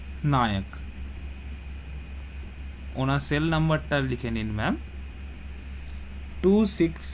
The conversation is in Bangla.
নায়ক ওনার cell number তা লিখে নিন ma'am, two six,